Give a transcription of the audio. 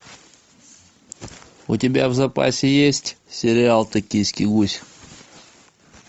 у тебя в запасе есть сериал токийский гуль